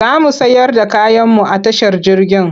Za mu sayar da kayanmu a tashar jirgin.